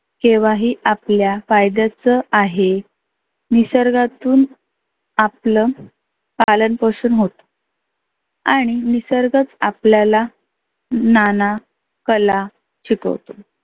केव्हा ही आपल्या फायद्याच आहे. निसर्गातून आपल पालन पोषन होतं आणि निसर्गच आपल्याला नाना कला शिकवतो.